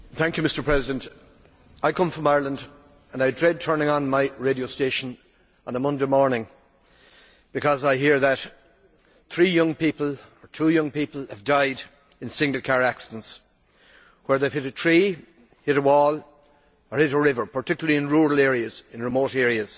Mr President, I come from Ireland and I dread turning on my radio station on a Monday morning because I hear that three young people or two young people have died in single car accidents, where they hit a tree, a wall or a river, particularly in rural and remote areas.